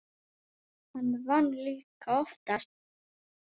Hann vann líka oftast.